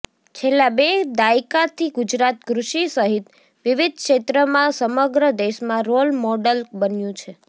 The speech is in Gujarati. છેલ્લા બે દાયકાથી ગુજરાત કૃષિ સહિત વિવિધ ક્ષેત્રમાં સમગ્ર દેશમાં રોલ મોડલ બન્યું છે